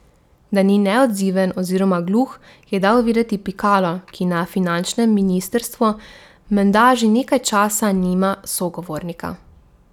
Da ni neodziven oziroma gluh, je dal vedeti Pikalu, ki na finančnem ministrstvu menda že nekaj časa nima sogovornika.